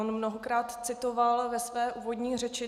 On mnohokrát citoval ve své úvodní řeči.